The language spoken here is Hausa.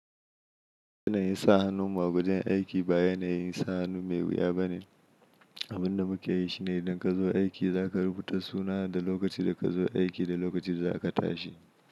Yanayin sa hannunmu a wajen aiki ba yanayin sa hannu mai wuya bane. Abin da muke yi shi ne idan ka zo aiki za ka rubuta sunan ka da lokacin da ka zo aiki da lokacin da za ka tashi.